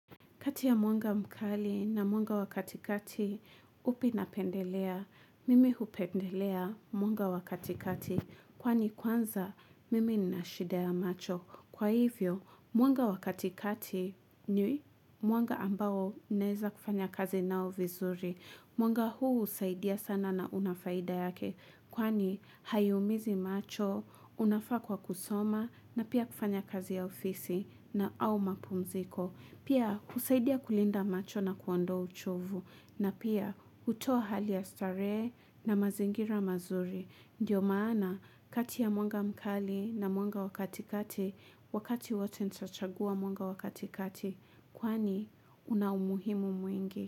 Kati ya mwanga mkali na mwanga wa katikati upi napendelea. Mimi hupendelea mwanga wa katikati kwani kwanza mimi ninashida ya macho. Kwa hivyo mwanga wa katikati ni mwanga ambao naeza kufanya kazi nao vizuri. Mwanga huu husaidia sana na unafaida yake kwani haiumizi macho, unafaa kwa kusoma na pia kufanya kazi ya ofisi na au mapumziko. Pia husaidia kulinda macho na kuondoa uchovu na pia hutoa hali ya starehe na mazingira mazuri. Ndio maana kati ya mwanga mkali na mwanga wa katikati, wakati wote nitachagua mwanga wa katikati. Kwani unaumuhimu mwingi.